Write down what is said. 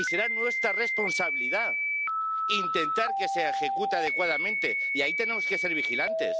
Y será nuestra responsabilidad intentar que se ejecute adecuadamente, y ahí tenemos que ser vigilantes.